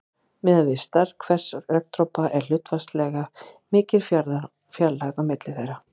Miðað við stærð hvers regndropa er hlutfallslega mikil fjarlægð á milli þeirra.